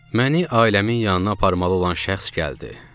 Məni ailəmin yanına aparmalı olan şəxs gəldi.